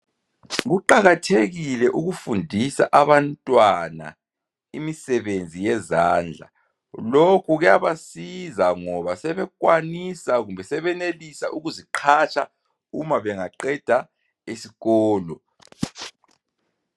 Kuqakathekile ukufundisa abantwana imisebenzi yezandla lokhu kuyabasiza ngoba sebenelisa ukuziqhatsha umabengaqeda iskolo.